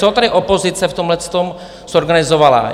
Co tady opozice v tomhletom zorganizovala?